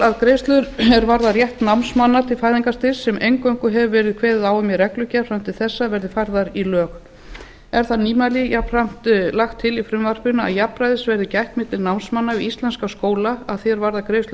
að greiðslur er varða rétt námsmanna til fæðingarstyrks sem eingöngu hefur verið kveðið á um í reglugerð fram til þessa verði færðar í lög er það nýmæli jafnframt lagt til í frumvarpinu að jafnræðis verði gætt milli námsmanna við íslenska skóla að því er varðar greiðsla